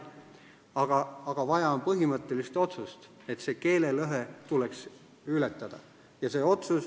Vaja on aga põhimõttelist otsust: keelelõhe tuleks ületada.